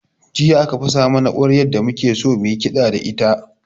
Jiya aka fasa mana ƙwaryar da muke so mu yi kiɗa da ita